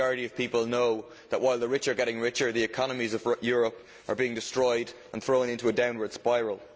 The majority of people know that while the rich are getting richer the economies of Europe are being destroyed and thrown into a downwards spiral.